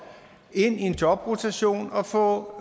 ind i en jobrotation og få